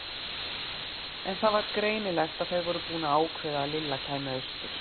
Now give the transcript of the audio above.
En það var greinilegt að þau voru búin að ákveða að Lilla kæmi austur.